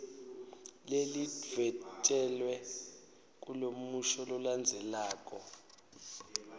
lelidvwetjelwe kulomusho lolandzelako